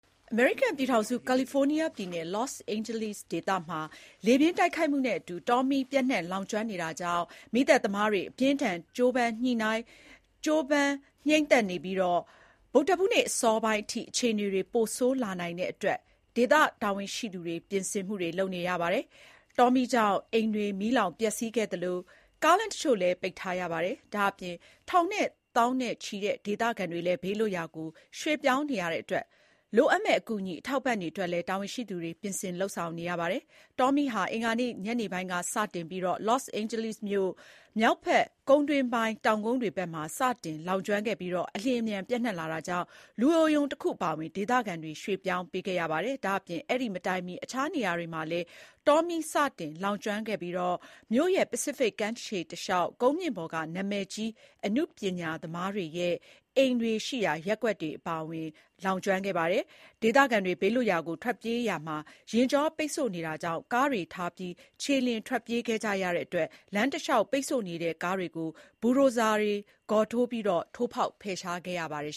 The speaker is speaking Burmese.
အမေရိကန်ပြည်ထောင်စု ကာလီဖိုးနီးယားပြည်နယ် လော့စ်အိန်ဂျလိစ်ဒေသမှာလေပြင်းတိုက်ခတ်မှုနဲ့ အတူ တောမီးပျံ့နှံ့လောင်ကျွမ်းနေတာကြောင့် မီးသတ်သမားတွေက မီးငြိမ်းသတ်နိုင်ဖို့ အပြင်းအထန် ကြိုးပမ်းနေကြရပြီး ဗုဒ္ဓဟူးနေ့အစောပိုင်းအထိ အခြေအနေတွေပိုဆိုးလာနိုင်တဲ့အတွက် ဒေသ တာဝန်ရှိသူတွေက လိုအပ်တာတွေ ကြိုတင်ပြင်ဆင်နေကြပါတယ်။ တောမီးကြောင့် အိမ်တွေမီးလောင်ပျက်စီးခဲ့သလို ကားလမ်းတချို့လည်း ပိတ်ထားရပါတယ်။ ဒါ့အပြင် ထောင်နဲ့ သောင်နဲ့ချီတဲ့ဒေသခံတွေလည်းဘေးလွတ်ရာကို ရွှေ့ပြောင်းနေရတဲ့အတွက် လိုအပ်မယ့် အကူအညီအထောက်အပံ့တွေအတွက်လည်း တာဝန်ရှိသူတွေက ပြင်ဆင်နေရပါတယ်။ အင်္ဂါနေ့ ညနေပိုင်းကစတင်ခဲ့တဲ့တောမီးဟာ လော့စ်အိန်ဂျလိစ်မြို့မြောက်ဘက် ကုန်းတွင်းပိုင်းကျတဲ့ တောင်ကုန်းတွေဘက်မှာ စတင်လောင်ကျွမ်းခဲ့ပြီး အလျင်အမြန် ပျံ့နှံ့လာတာကြောင့် လူအိုရုံတခု အပါအဝင် ဒေသခံတွေကိုရွှေ့ ပြောင်းပေးခဲ့ ရပါတယ်။ ဒါ့အပြင် အဲဒီမတိုင်မီ အခြားနေရာမှာလည်း တောမီးစတင်လောင်ကျွမ်းခဲ့ပြီး မြို့ရဲ့ ပစိဖိတ်ကမ်းခြေ တလျှောက် ကုန်းမြင့်ပေါ်က နာမည်ကြီးအနုပညာသမားတွေရဲ့အိမ်တွေရှိရာ ရပ်ကွက်တွေအပါအဝင် Pacific Palisades ရပ်ကွက်တွေကို ပါလောင်ကျွမ်းခဲ့ပါတယ်။ ဒေသခံတွေဘေးလွတ်ရာကိုထွက်ပြေးကြရာမှာလည်း ယာဉ်ကြောပိတ်ဆို့နေတာကြောင့် ကားတွေ ထားပြီး ခြေလျင်ထွက်ပြေးကြတဲ့အတွက် လမ်းတလျှောက်ပိတ်ဆို့နေတဲ့ကားတွေကို ဘူဒိုဇာ ဂေါ်ထိုး ကားတွေနဲ့ ထိုးပြီးဖယ်ရှားခဲ့ရပါတယ်